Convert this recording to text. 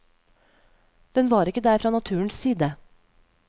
Den var ikke der fra naturens side.